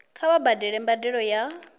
kha vha badele mbadelo ya